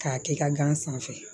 K'a kɛ i ka gan sanfɛ